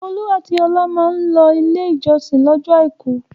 Olú àti Ọlá máa ń lọ Ilé-ìjọsìn lọ́jọ́ àìkú.